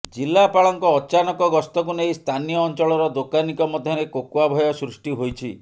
ଜିଲ୍ଲାପାଳଙ୍କ ଅଚାନକ ଗସ୍ତକୁ ନେଇ ସ୍ଥାନୀୟ ଅଞ୍ଚଳର ଦୋକାନୀଙ୍କ ମଧ୍ୟରେ କୋକୁଆ ଭୟ ସୃଷ୍ଟି ହୋଇଛି